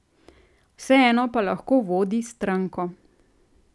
Vseeno pa lahko vodi stranko.